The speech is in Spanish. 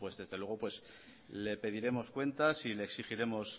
desde luego le pediremos cuentas y le exigiremos